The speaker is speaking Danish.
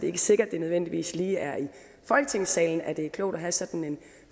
er sikkert at det nødvendigvis lige er i folketingssalen at det er klogt at have sådan en